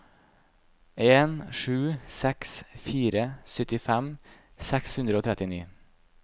en sju seks fire syttifem seks hundre og trettini